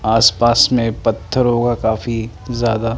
आसपास में पत्थर होगा काफी ज़्यादा।